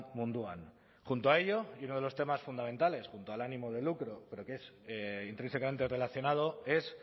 munduan junto a ello y uno de los temas fundamentales junto al ánimo de lucro pero que es intrínsecamente relacionado es